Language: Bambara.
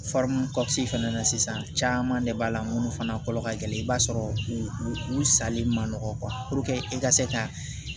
fana na sisan caman de b'a la minnu fana kolo ka gɛlɛn i b'a sɔrɔ u salen ma nɔgɔn e ka se ka